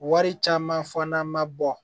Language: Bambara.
Wari caman fana ma bɔ